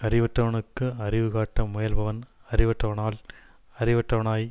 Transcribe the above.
அறிவற்றவனுக்கு அறிவு காட்ட முயல்பவன் அறிவற்றவனால் அறிவற்றவனாய்